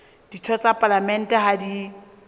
ditho tsa palamente ha di